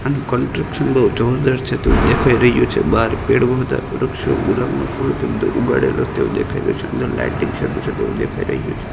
આનુ construction તો જોરદાર છે તેવુ દેખાય રહ્યુ છે બાર પેડ બો બધા વૃક્ષો ઉગાડેલા તેવુ દેખાય રહ્યુ છે અંદર લાઈટિંગ તેવુ દેખાય રહ્યુ છે.